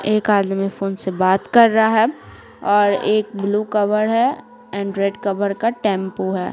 एक आदमी फोन से बात कर रहा है और एक ब्लू कवर है एंड रेड कवर का टेंपो है।